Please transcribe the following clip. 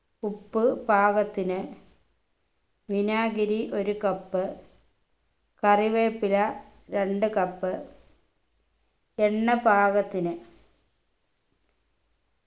ഉപ്പ് പാകത്തിന് വിനാഗിരി ഒരു cup കറിവേപ്പില രണ്ടു cup എണ്ണ പാകത്തിന്